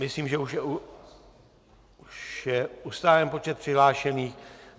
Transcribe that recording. Myslím, že už je ustálen počet přihlášených.